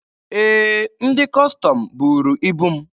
Ee, ndị Kọstọm buuru ibu m.